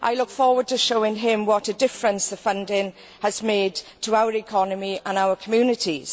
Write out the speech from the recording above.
I look forward to showing him what a difference the funding has made to our economy and our communities.